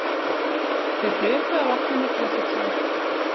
Þau hlupu að vatninu til að fylla þær.